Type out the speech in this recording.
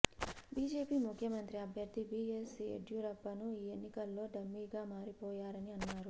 బిజెపిముఖ్యమంత్రి అభ్యర్ధి బిఎస్ యెడ్యూరప్పను ఈ ఎన్నికల్లో డమ్మీగా మారిపోయారని అన్నారు